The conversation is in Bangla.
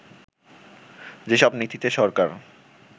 যেসব নীতিতে সরকার